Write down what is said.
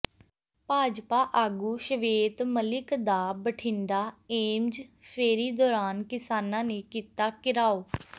ਭਾਜਪਾ ਆਗੂ ਸ਼ਵੇਤ ਮਲਿਕ ਦਾ ਬਠਿੰਡਾ ਏਮਜ਼ ਫੇਰੀ ਦੌਰਾਨ ਕਿਸਾਨਾਂ ਨੇ ਕੀਤਾ ਘਿਰਾਓ